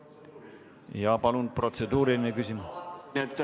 Jaa, palun, protseduuriline küsimus!